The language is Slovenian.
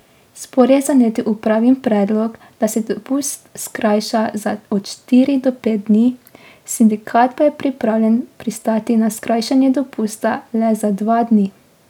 Spor je zanetil upravin predlog, da se dopust skrajša za od štiri do pet dni, sindikat pa je pripravljen pristati na skrajšanje dopusta le za dva dni.